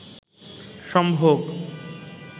সম্ভোগ